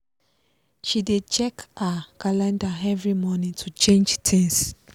she dey check her calendar every morning to change things